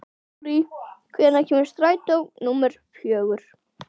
Rúrí, hvenær kemur strætó númer fjögur?